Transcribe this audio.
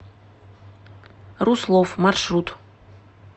руслов маршрут